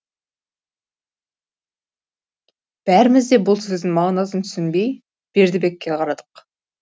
бәріміз де бұл сөздің мағынасын түсінбей бердібекке қарадық